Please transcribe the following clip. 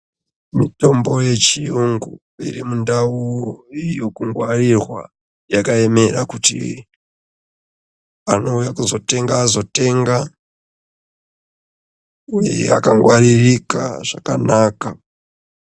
Mitombo yechiyungu iri mundau yekungwarirwa yakaemera kuti anouya kuzotenga azotenga uye yakangwaririka zvakanaka.